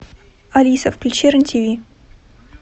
алиса включи рен тв